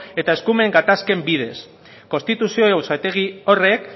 eta eskumen gatazken bidez konstituzio auzitegi horrek